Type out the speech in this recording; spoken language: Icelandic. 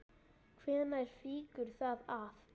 Hvenær fýkur það af?